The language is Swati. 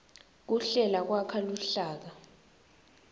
kuhlela kwakha luhlaka